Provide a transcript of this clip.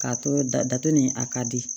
K'a to datugu ni a ka di